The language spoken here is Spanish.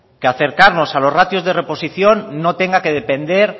que acercarnos a los ratios de reposición no tenga que depender